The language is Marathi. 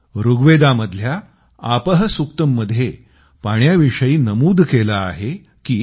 ऋग्वेदामधल्या आपः सुक्तम्मध्ये पाण्याविषयी नमूद केलं आहे की